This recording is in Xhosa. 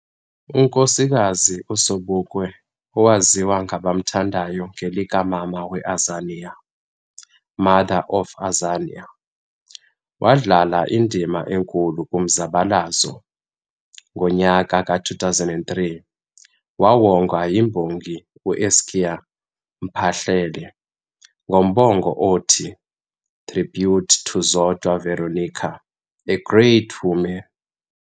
UNkosikazi uSobukwe owaziwa ngabamthandayo ngelika Mama weAzania, Mother of Azania, wadlala indima enkulu kumzabalazo, ngonyaka ka 2003 wawongwa yimbongi uEskia Mphahlele ngombongo othi "tribute to Zodwa Veronica, A great woman"